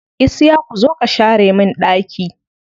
Isiyaku zo ka share min ɗaki.